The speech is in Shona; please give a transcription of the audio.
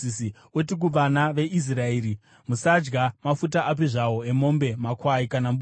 “Uti kuvana veIsraeri, ‘Musadya mafuta api zvawo emombe, makwai kana mbudzi.